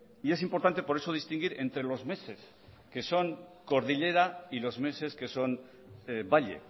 y es importante por eso distinguir entre los meses que son cordillera y los meses que son valle